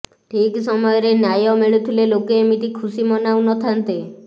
ଠିକ୍ ସମୟରେ ନ୍ୟାୟ ମିଳୁଥିଲେ ଲୋକେ ଏମିତି ଖୁସି ମନାଉ ନ ଥାନ୍ତେ